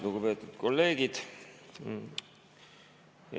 Lugupeetud kolleegid!